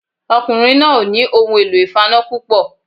Ọkùnrin náà ò nì ohun èlò ìfaná púpọ̀